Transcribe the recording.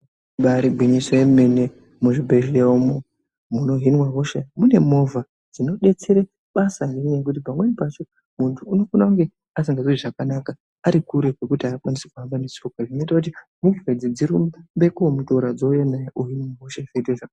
Ibari gwinyiso remene muzvibhedhlera umu munohinwa hosha mune movha dzinodetserwa basa nekuti pamweni pacho muntu asinganzwi zvakanaka Ari kure kwekuti akwanisi kuhamba netsoka zvinoita kuti movha idzi dzirumbe komutora vouya naye ohinwa hosha zvoita zvakanaka.